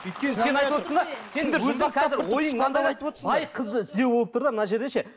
өйткені сен айтып отырсың да бай қызды іздеу болып тұр да мына жерде ше